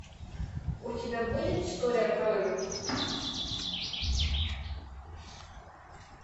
у тебя будет история крови